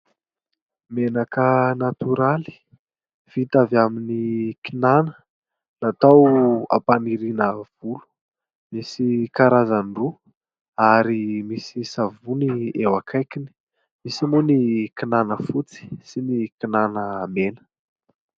Menaka natoraly vita avy amin'ny kinàna, natao hampaniriana volo ; misy karazany roa ary misy savony eo akaikiny. Misy moa ny kinàna fotsy sy ny kinàna mena.